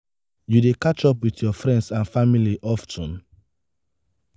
you dey catch up with your friends and family of ten?